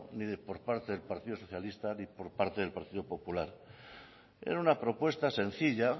ni de por parte del partido socialista ni por parte del partido popular era una propuesta sencilla